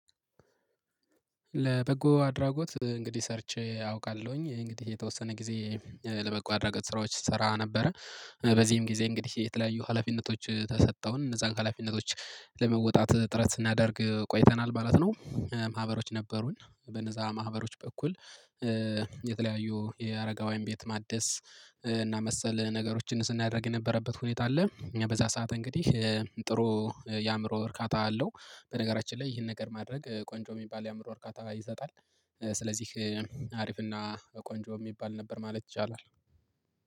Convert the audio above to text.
ለበጎ አድራጎት እንግዲህ ሰርቼ አውቃለሁኝ እንግዲህ የተወሰነ ጊዜ ለበጎ አድራጎት ስራዎች ስሰራ ነበረ በዚህም ጊዜ እንግዲህ የተለያዩ ሀላፊነቶች ተሰጠውን እነዛን ሀላፊነቶች ለመወጣት ጥረት ስናደርግ ቆይተናል ማለት ነው። ማህበሮች ነበሩን በነዛ ማህበሮች በኩል። የተለያዩ የአረጋዊያን ቤት ማደስ እና መሰል ነገሮችን ስናደርግ የነበረበት ሁኔታ አለ በዛ ሰዓት እንግዲህ ጥሩ የአእምሮ እርካታ አለው። በነገራችን ላይ ይህን ነገር ማድረግ ቆንጆ የሚባል የአእምሮ እርካታ ይሰጣል። ስለዚህ አሪፍና ቆንጆ የሚባል ነበር ማለት ይቻላል